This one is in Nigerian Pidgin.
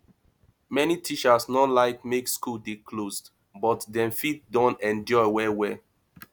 many teachers no like make school dey closed but dem fit don endure well well